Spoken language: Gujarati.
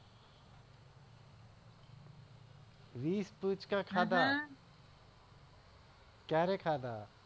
વિસ પૂચકા ખાધા ક્યારે ખાધા